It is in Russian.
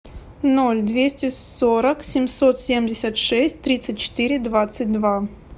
ноль двести сорок семьсот семьдесят шесть тридцать четыре двадцать два